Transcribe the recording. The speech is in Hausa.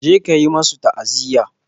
Je ka yi musu ta'aziya.